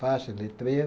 faixa, letreiro.